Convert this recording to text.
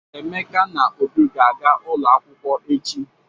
Emeka na Obi ga-aga ụlọ akwụkwọ echi.